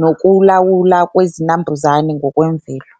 nokulawula kwezinambuzane ngokwemvelo.